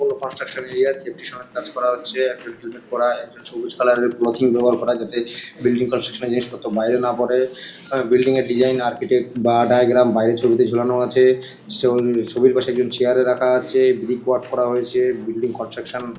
কোন construction -area safety সমেত কাজ করা হচ্ছে। একজন হেলমেট পরা একজন সবুজ কালার -এর ক্লথিং পেপার পরা যাতে বিল্ডিং কনস্ট্রাকশন -এর জিনিস পত্র যেন বাইরে না পড়ে বিল্ডিং - এর ডিসাইন আর্চিটেক্ট বা ডায়াগ্রাম বাইরের ছবি তে ঝোলানো আছে ছ ছবির পাশে একজন চেয়ার - এ রাখা আছে । ব্রিক ওয়ার্ক করা হয়েছে। Building construction --